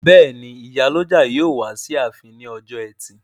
Bẹ́ẹ̀ni, ìyálọ́jà yóò wá sí ààfin ní ọjọ́ ẹtì